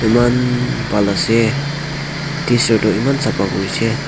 man pal ase tisir to eman sapha kori se.